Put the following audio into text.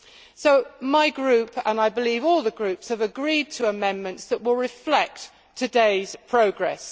So my group and I believe all the groups have agreed to amendments that will reflect today's progress.